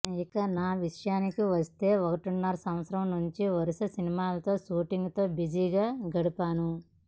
ఇక నా విషయానికి వస్తే ఒకటిన్నర సంవత్సరం నుంచి వరుస సినిమాలతో షూటింగ్స్ తో బిజీ గా గడిపాను